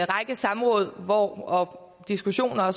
række samråd og diskussioner